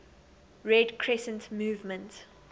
red crescent movement